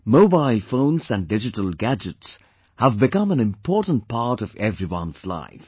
Mobile phones and digital gadgets have become an important part of everyone's life